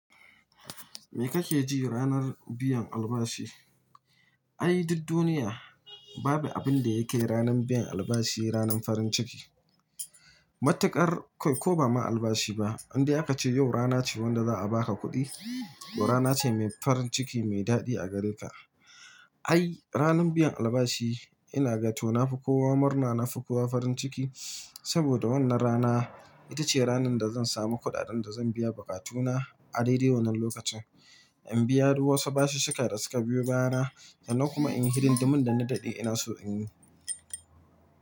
Me kake ji ranar biyan albashi? Ai, duk duniya babu abin da yakai ranan biyan albashi, ranan farin ciki. Matuƙar, kai ko ba ma albashi ba, indai aka ce yau rana ce wanda za a baka kuɗi to rana ce mai farin ciki, mai daɗi a gare ka. Ai, ranar biyan albashi ina gato na fi kowa murna, na fi kowa farin ciki. Saboda wannan rana ita ce ranar da zan samu kuɗaɗan da zan biya buƙatuna a daidai wannan lokacin. In biya duk wasu bashish shika da suka biyo baya na, sannan kuma in yi hidindi min da na daɗe inaso in yi.